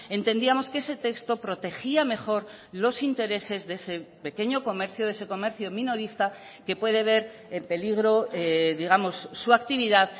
entendíamos que ese texto protegía mejor los intereses de ese pequeño comercio de ese comercio minorista que puede ver en peligro digamos su actividad